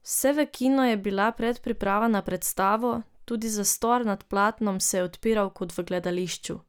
Vse v kinu je bila predpriprava na predstavo, tudi zastor nad platnom se je odpiral kot v gledališču.